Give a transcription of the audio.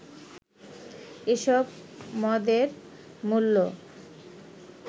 এসব মদের মূল্য